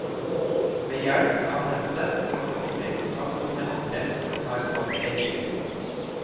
Ved hjelp av nettet kan du komme i kontakt med andre som har samme reiseruten.